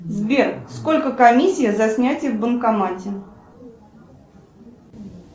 сбер сколько комиссия за снятие в банкомате